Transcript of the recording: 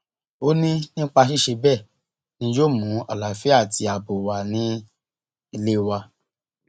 ó ní nípa ṣíṣe bẹẹ ni yóò mú àlàáfíà àti ààbò wà ní ilé wa